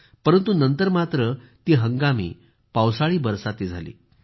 परंतु नंतर मात्र ती हंगामी पावसाळीबरसाती झाली